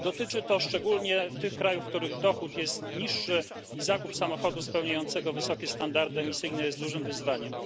Dotyczy to szczególnie tych krajów, w których dochód jest niższy i zakup samochodu spełniającego wysokie standardy emisyjne jest dużym wyzwaniem.